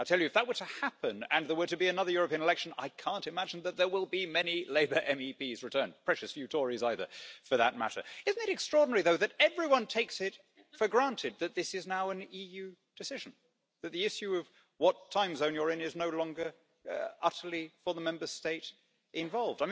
I tell you, if that were to happen, and there were to be another European election, I can't imagine that there would be many Labour MEPs returned precious few Tories either, for that matter. Isn't it extraordinary, though, that everyone takes it for granted that this is now an EU decision that the issue of what time zone you're in is no longer utterly for the Member State involved?